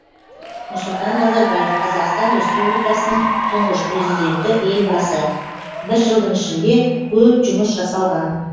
нұрсұлтан назарбаев қазақстан республикасының тұңғыш президенті елбасы бір жылдың ішінде көп жұмыс жасалған